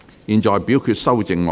現在表決修正案。